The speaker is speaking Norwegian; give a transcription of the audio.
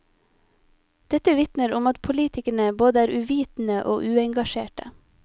Dette vitner om at politikerne både er uvitende og uengasjerte.